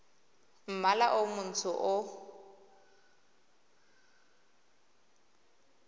mmala o montsho le o